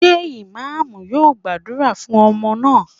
Ṣé Imam yóò gbàdúrà fún ọmọ náà?